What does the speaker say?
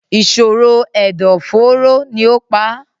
ìṣòro ẹ̀dọ̀-fóóró ni ó pa á.